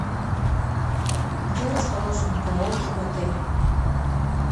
где расположено караоке в отеле